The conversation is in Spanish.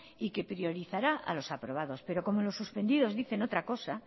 y que priorizará a los aprobados pero como los suspendidos dicen otra cosa